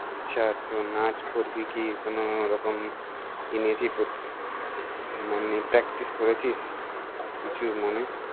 আচ্ছা তো নাচ করবি কি কোনো রকম কি নিয়েছি প্র~ মানে practice করেছিস কিছু মনে?